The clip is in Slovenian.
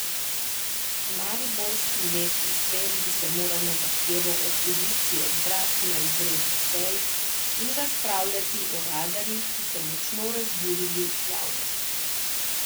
Mariborski mestni svet bi se moral na zahtevo opozicije zbrati na izredni seji in razpravljati o radarjih, ki so močno razburili javnost.